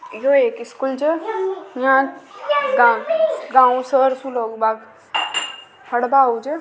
यो एक स्कूल छ यहां गाँव से पढ़वा आवे छ।